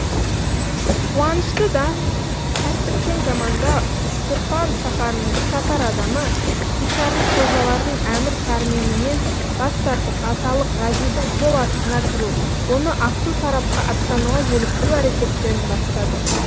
қуанышты да тәртіпшең заманда үштұрфан шаһарының бірқатар адамы кучарлық қожалардың әмір пәрменінен бас тартып аталық ғазидің қол астына кіру оны ақсу тарапқа аттануға желіктіру әрекеттерін бастады